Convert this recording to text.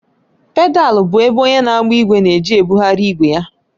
Pedalu bụ ebe onye na-agba ìgwè na-eji ebugharị ìgwe ya